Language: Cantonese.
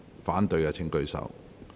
反對的請舉手。